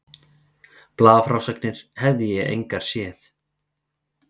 Blaðafrásagnir hefði ég engar séð.